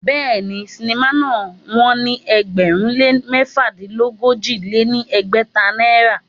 Béèni, sinimá náà wón ní ẹgbẹ̀rún lé mẹ́fàdínogójì lé ní ẹgbẹ́ta náírà.